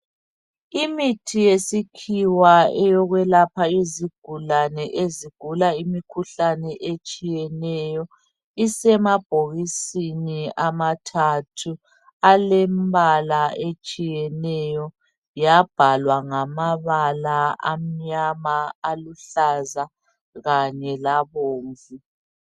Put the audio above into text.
Imithi yesikhiwa eyokwelapha izigulane ezigula imikhuhlane etshiyeneyo. Isemabhokisini amathathu alembala etshiyeneyo yabhalwa ngamabala amnyama, aluhlaza kanye labomvu.